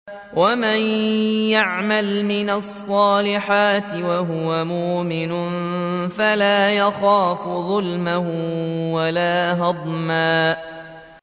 وَمَن يَعْمَلْ مِنَ الصَّالِحَاتِ وَهُوَ مُؤْمِنٌ فَلَا يَخَافُ ظُلْمًا وَلَا هَضْمًا